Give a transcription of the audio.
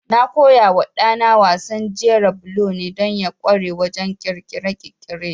Na koyawa ɗana wasan jera bulo ne don ya ƙware wajen ƙirƙire-ƙirƙire.